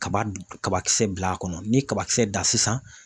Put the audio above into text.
Kaba kabakisɛ bila a kɔnɔ ni kabakisɛ dan sisan